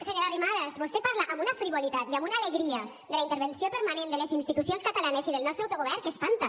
senyora arrimadas vostè parla amb una frivolitat i amb una alegria de la intervenció permanent de les institucions catalanes i del nostre autogovern que espanta